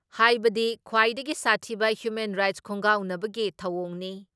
ꯍꯥꯏꯕꯗꯤ ꯈ꯭ꯋꯥꯏꯗꯒꯤ ꯁꯥꯊꯤꯕ ꯍ꯭ꯌꯨꯃꯦꯟ ꯔꯥꯏꯠ ꯈꯣꯡꯒꯥꯎꯅꯕꯒꯤ ꯊꯧꯑꯣꯡꯅꯤ ꯫